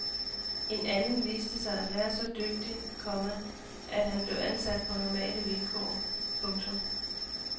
En anden viste sig at være så dygtig, komma at han blev ansat på normale vilkår. punktum